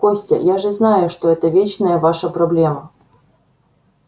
костя я же знаю что это вечная ваша проблема